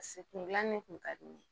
Paseke kun gilanni kun ka di ne ye